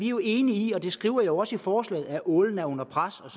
jo enige i og det skriver jeg jo også i forslaget at ålen er under pres